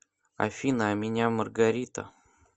афина а меня маргарита